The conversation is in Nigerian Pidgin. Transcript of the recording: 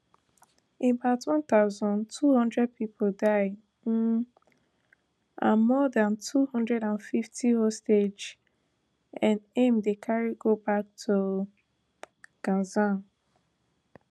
about one thousand, two hundred pipo die um and more dan two hundred and fifty hostages n aim dem carry go back to gaza